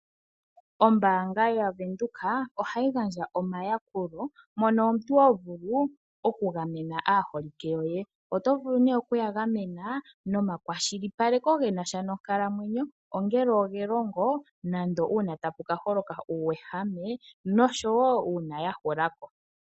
Ombaanga yaVenduka ohayi gandja omayakulo mono omuntu ho vulu okugamena aaholike yoye. Oto vulu nee okuya gamena nomakwashilipaleko ge na sha nonkalamwenyo, ongele ogelongo nande uuna tapu ka holoka uuwehame nosho wo uuna ya hula po.